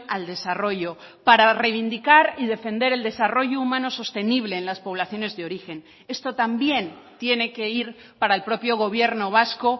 al desarrollo para reivindicar y defender el desarrollo humano sostenible en las poblaciones de origen esto también tiene que ir para el propio gobierno vasco